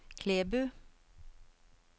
Klæbu